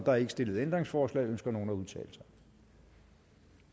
er ikke stillet ændringsforslag ønsker nogen at udtale sig